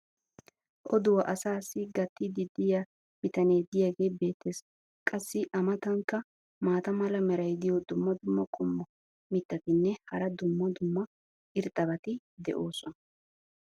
oduwaa asaassi gatiidi diya bitanee diyaagee beetees. qassi a matankka maata mala meray diyo dumma dumma qommo mitattinne hara dumma dumma irxxabati de'oosona.